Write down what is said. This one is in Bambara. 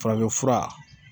Farafinfura